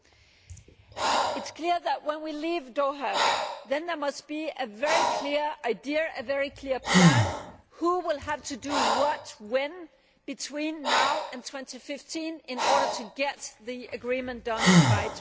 It is clear that when we leave Doha there must be a very clear idea, a very clear plan of who will have to do what and when between now and 2015 in order to get the agreement done by